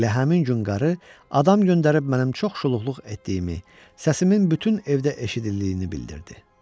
Elə həmin gün qarı adam göndərib mənim çox şuluqluq etdiyimi, səsimin bütün evdə eşidildiyini bildirdi.